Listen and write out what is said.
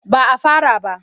Ba a fara ba.